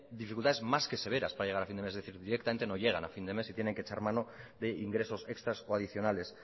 dificultades más que severas para llegar a fin de mes es decir directamente no llevan a fin de mes y tienen que echar mano de ingresos extras o adicionales